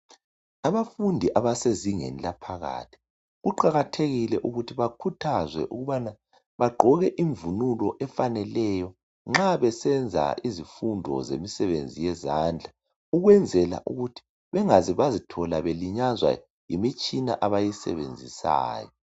Abafundi abasezingeni laphakathi kuqakathekile ukuthi bakhuthazwe ukubana bagqoke imvunulo efaneleyo nxa besenza izifundo zemsebenzi yezandla ukwenzela ukuthi bengaze bazithola belinyazwa yimitshina abayisebenzisayo.